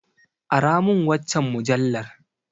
Aramin waccan mujallar.